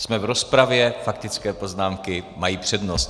Jsme v rozpravě, faktické poznámky mají přednost.